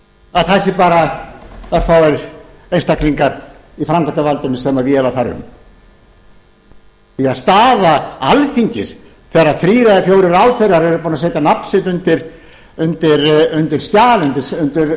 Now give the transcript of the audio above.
að það séu bara örfáir einstaklingar í framkvæmdarvaldinu sem véla þar um því að staða alþingis þegar þrír eða fjórir ráðherrar eru búnir að setja nafn sitt undir skjal undir viljayfirlýsingu